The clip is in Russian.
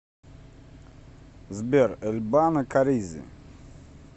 сбер эль бано каризи